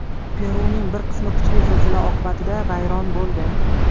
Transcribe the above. Peruning bir qismi kuchli zilzila oqibatida vayron bo‘ldi.